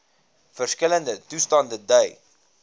verskillende toestande dui